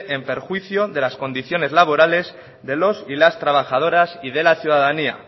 en perjuicio de las condiciones laborales de los y las trabajadoras y de la ciudadanía